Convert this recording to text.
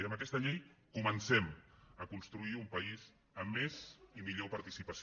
i amb aquesta llei comencem a construir un país amb més i millor participació